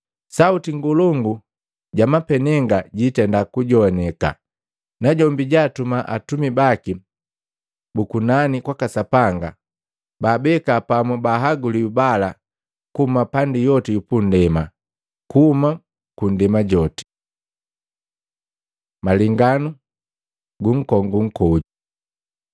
Sauti ngolongu ja mapenega jiitenda kujowaneka najombi jaatuma atumi baki bu kunani kwaka Sapanga, baabeka pamu baahaguliwi bala kuhuma pandi yoti yu punndema, kuhuma nndema joti. Malenganu gu nkongu nkoju Maluko 13:28-31; Luka 21:29-33